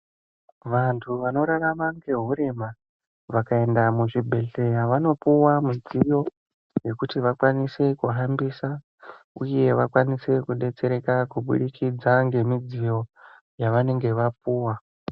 Vantu vanorarama ngehurema vakaenda muzvibhedhlera vanopuwa midziyo yekuti vakwanise kuhambisa uye vakwanise kudetsereka kubudikidza ngemidziyo yavanenge vapuwa.